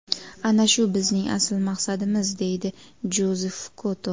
Ana shu bizning asl maqsadimiz”, deydi Jozef Koto.